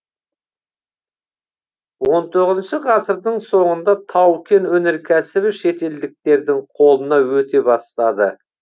он тоғызыншы ғасырдың соңында тау кен өнеркәсібі шетелдіктердің қолына өте бастады